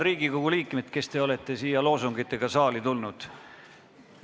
Riigikogu liikmed, kes te olete loosungitega siia saali tulnud!